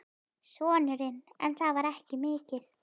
Sonurinn: En það var ekki mikið.